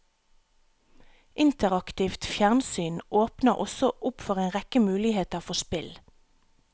Interaktivt fjernsyn åpner også opp for en rekke muligheter for spill.